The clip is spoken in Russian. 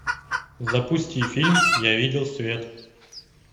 запусти фильм я видел свет